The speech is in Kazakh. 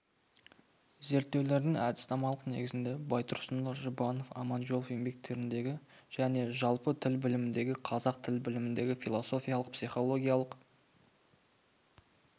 зерттеудің әдіснамалық негізіне байтұрсынұлы жұбанов аманжолов еңбектеріндегі және жалпы тіл біліміндегі қазақ тіл біліміндегі философиялық психологиялық